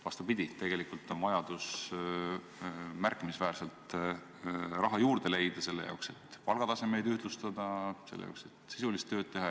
Vastupidi, tegelikult on vajadus märkimisväärselt raha juurde leida selle jaoks, et palgatasemeid ühtlustada, selle jaoks, et sisulist tööd teha.